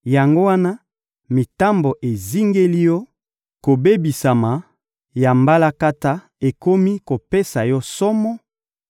Yango wana, mitambo ezingeli yo, kobebisama ya mbalakata ekomi kopesa yo somo,